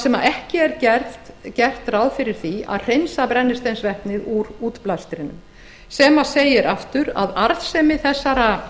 sem ekki er gert ráð fyrir því að hreinsa brennisteinsvetnið úr útblæstrinum sem segir aftur að arðsemi þessara